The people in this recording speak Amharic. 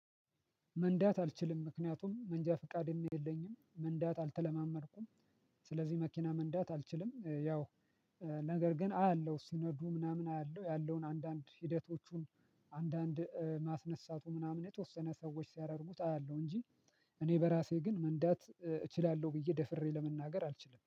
መንዳት አልችልም ምክንያቱም መንጃ ፍቃድም የለኝም መንዳት አልተለማመድኩም። ስለዚህ መኪና መንዳት አልችልም። ያው ነገር ግን አያለሁ ሲነዱ ምናምን አያለሁ ያለውን አንድአንድ ሂደቶቹን አንድአንድ ማስነሳቱ ምናምን የተወሰነ ሰዎች ሲያደርጉት አያለሁ። እንጂ እኔ በራሴ ግን መንዳት እችላለሁ ብዬ ደፍሬ ለመናገር አልችልም